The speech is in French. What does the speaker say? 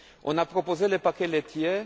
On a proposé le paquet laitier.